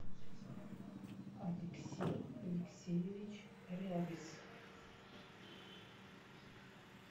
алексей алексеевич рябис